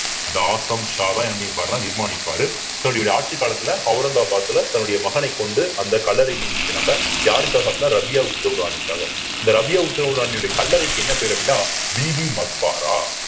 இந்த ஆசம் ஷாவ என்னபண்ணியிருப்பாருன்னு நிர்மாணிப்பாரு தன்னுடைய ஆட்சிக் காலத்துல அவுரங்கபாத்ல தன்னுடைய மகனைக் கொண்டு அந்த கல்லறை நியமிக்கிறாங்க யாருக்காக அப்படின்னா ரபியா உத்தவ் ராணிக்காக அந்த ரபியா உத்தவ் ராணியுடைய கல்லறைக்கு என்ன பேர் அப்படின்னா பிபிகா மக்பாரா